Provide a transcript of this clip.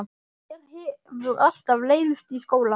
Mér hefur alltaf leiðst í skóla.